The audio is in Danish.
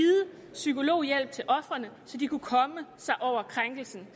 psykologhjælp til ofrene så de kunne komme sig over krænkelsen